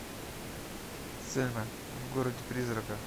сельма в городе призраков